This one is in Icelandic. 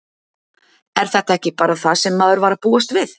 Er þetta ekki bara það sem maður var að búast við?